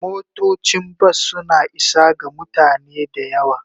Motocin bas suna isa ga mutane da yawa.